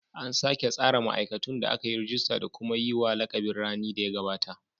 An sake tsara ma'aikatun da aka yi rajista da kuma yi wa lakabin rani da ya gabata.